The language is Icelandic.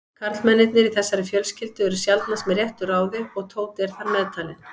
Karlmennirnir í þessari fjölskyldu eru sjaldnast með réttu ráði og Tóti er þar meðtalinn.